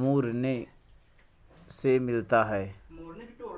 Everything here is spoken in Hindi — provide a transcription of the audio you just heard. नमूने से मिलात है